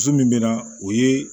Muso min bɛ na o ye